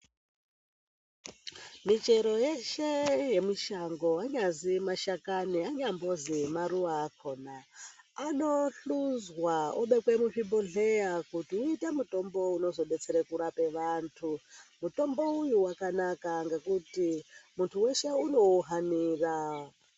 Michero yeshe yemushango, anyazi mashakani anyambozwi nemaruwa akhona, anohluzwa obekwa muzvibhodhlera, kuti uite mutombo unozodetsera kurapa vantu. Mutombo uyu wakanaka ngekuti muntu weshe unouhanira.